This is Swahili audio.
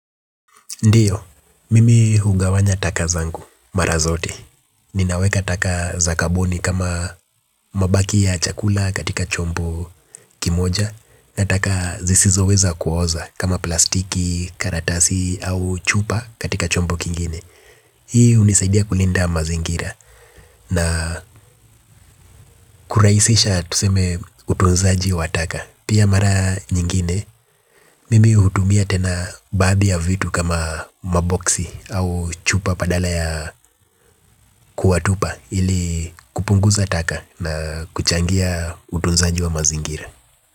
Ndiyo, mimi hugawanya taka zangu mara zote. Ninaweka taka za kaboni kama mabaki ya chakula katika chombo kimoja. Na taka zisizo weza kuoza kama plastiki, karatasi au chupa katika chombo kingine. Hii hunisaidia kulinda mazingira na kurahisisha tuseme utunzaji wa taka. Pia mara nyingine, mimi hutumia tena baadhi ya vitu kama maboksi au chupa badala ya kuwatupa ili kupunguza taka na kuchangia utunzanji wa mazingira.